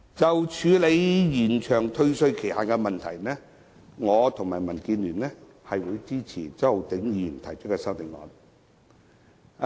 就處理延長退稅期限，我們會支持周浩鼎議員提出的修正案。